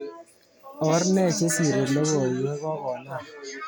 Orne chesiri logoiwek kokonam.